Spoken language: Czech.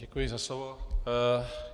Děkuji za slovo.